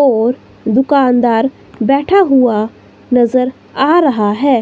और दुकानदार बैठा हुआ नजर आ रहा है